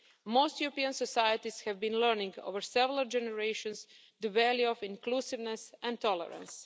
Most European societies have been learning over several generations the value of inclusiveness and tolerance.